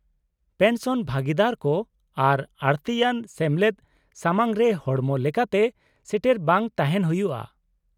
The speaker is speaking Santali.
-ᱯᱮᱱᱥᱚᱱ ᱵᱷᱟᱹᱜᱤᱫᱟᱨ ᱠᱚ ᱟᱨ ᱟᱹᱲᱛᱤᱭᱟᱱ ᱥᱮᱢᱞᱮᱫ ᱥᱟᱢᱟᱝᱨᱮ ᱦᱚᱲᱢᱚ ᱞᱮᱠᱟᱛᱮ ᱥᱮᱴᱮᱨ ᱵᱟᱝ ᱛᱟᱦᱮᱱ ᱦᱩᱭᱩᱜᱼᱟ ᱾